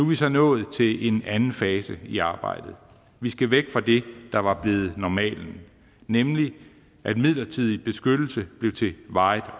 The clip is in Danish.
vi så nået til en anden fase i arbejdet vi skal væk fra det der var blevet normalen nemlig at midlertidig beskyttelse blev til varigt